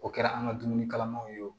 O kɛra an ka dumuni kalamanw ye o